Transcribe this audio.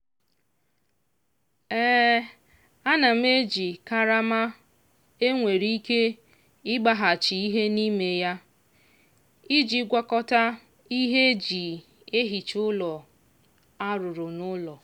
ana m eji karama e nwere ike ịgbaghachi ihe n'ime ya iji gwakọta ihe e ji ehicha ụlọ a rụrụ n'ụlọ.